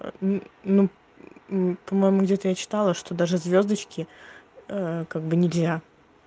ну по-моему где-то я читала что даже звёздочки как бы нельзя